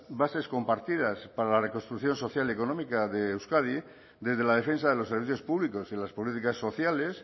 bases compartidas para la reconstrucción social y económica de euskadi desde la defensa de los servicios públicos y las políticas sociales